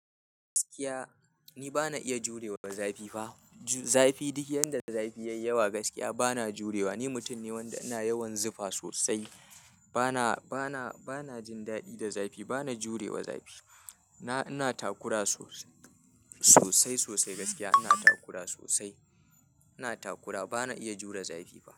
Gaskiya ni bana iya jurewa zafi fa. Zafi duk yanda zafi yayi yawa gaskiya bana jurewa. Ni mutum ne wanda ina yawan zufa sosai. Bana, bana, bana jin daɗi da zafi. Bana jurewa zafi. Ina takura sosai, sosai sosai gaskiya ina takura sosai. Ina takura bana iya jure zafi fa.